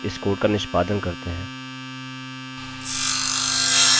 अच्छा तो हमें 1 2 3 से लेकर 9 तक सभी मिल गए